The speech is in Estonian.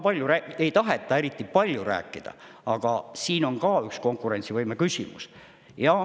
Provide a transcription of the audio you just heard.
Sellest ei taheta eriti palju rääkida, aga see on ka üks konkurentsivõime küsimus.